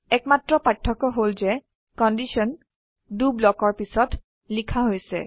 একমাত্ৰ পাৰ্থক্য হল যে কন্ডিশন দ ব্লকৰ পিছত লিখা হৈছে